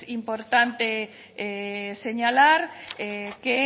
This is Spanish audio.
importante señalar que